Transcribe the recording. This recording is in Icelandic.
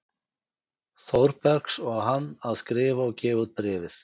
Þórbergs og hann að skrifa og gefa út Bréfið.